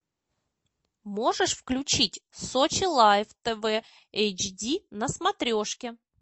можешь включить сочи лайв тв эйч ди на смотрешке